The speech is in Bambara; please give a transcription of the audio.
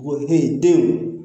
Wɔkɛ denw